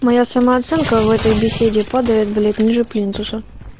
моя самооценка в этой беседе падает блять ниже плинтуса